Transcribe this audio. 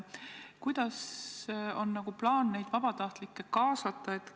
Kuidas on plaan neid vabatahtlikke kaasata?